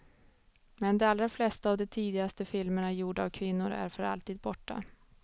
Men de allra flesta av de tidigaste filmerna gjorda av kvinnor är för alltid borta.